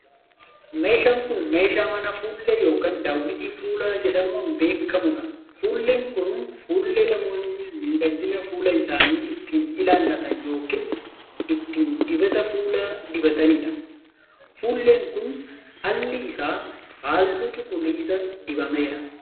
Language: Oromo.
Meeshaan kun, meeshaa manaa fuullee yokin daawwitii fuulaa jedhamuun beekamuu dha. Fuulleen kun, fuullee namoonni miidhagina fuula isaanii ittiin ilaallatan yokin ittiin dibata fuulaa dibatanii dha. Fuulleen kun, alli isaa haalluu cuquliisa dibameera.